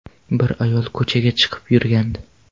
Bir ayol ko‘chaga chiqib yurgandi.